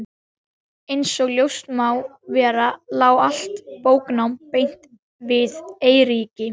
Einsog ljóst má vera lá allt bóknám beint við Eiríki.